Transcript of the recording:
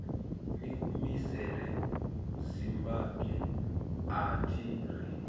ni humisela zimbabwe athi ri